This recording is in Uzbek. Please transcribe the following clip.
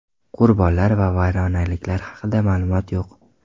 Qurbonlar va vayronaliklar haqida ma’lumot yo‘q.